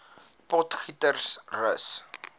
potgietersrus